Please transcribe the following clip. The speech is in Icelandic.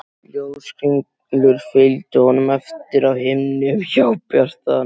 Ljóskringlur fylgdu honum eftir á himni um hábjarta nóttina.